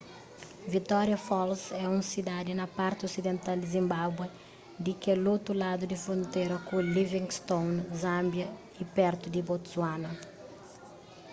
victoria falls é un sidadi na parti osidental di zimbabué di kel otu ladu di frontera ku livingstone zâmbia y pertu di botswana